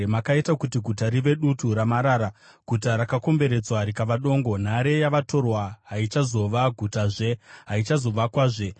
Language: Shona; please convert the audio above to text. Makaita kuti guta rive dutu ramarara, guta rakakomberedzwa rikava dongo, nhare yavatorwa haichazova gutazve; haichazovakwazve.